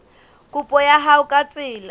kopo ya hao ka tsela